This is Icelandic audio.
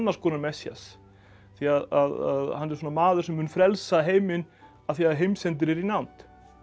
konar Messías því að hann er svona maður sem mun frelsa heiminn af því heimsendir er í nánd